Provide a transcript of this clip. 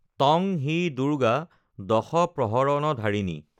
ত্বং হি দুৰ্গা দশপ্ৰহৰণধাৰিণী